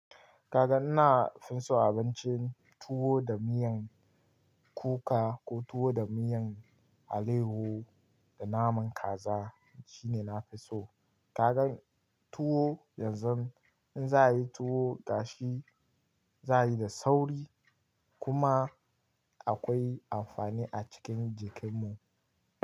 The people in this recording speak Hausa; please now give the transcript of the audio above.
Kaga ina fin so abincin tuwo da miyan kuka ko tuwo da miyan alaiyahu da naman kaza shine na fi so. Kaga tuwo yanzu in za a yi tuwo gashi za a yi da sauri kuma akwai amfani a cikin jikin mu.